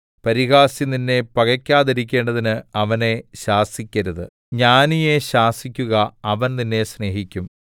പരിഹാസി നിന്നെ പകക്കാതിരിക്കേണ്ടതിന് അവനെ ശാസിക്കരുത് ജ്ഞാനിയെ ശാസിക്കുക അവൻ നിന്നെ സ്നേഹിക്കും